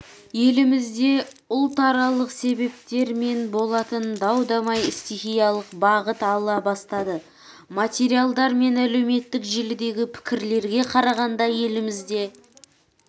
елімізде ұлтаралық себептермен болатын дау-дамай стихиялық бағыт ала бастады материалдар мен әлеуметтік желідегі пікірлерге қарағанда елімізде